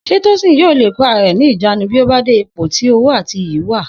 S̩é Tósìn yóò le kó ara rè̩ ní ìjánu bí ó bá de ipò tí owó àti iyì wà?